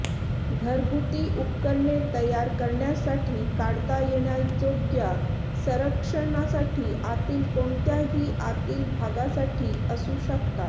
घरगुती उपकरणे तयार करण्यासाठी काढता येण्याजोग्या संरक्षणासाठी आतील कोणत्याही आतील भागासाठी असू शकतात